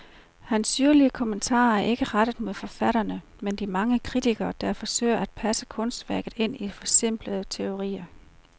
Hans syrlige kommentarer er ikke rettet mod forfatterne, men de mange kritikere, der forsøger at passe kunstværket ind i forsimplende teorier.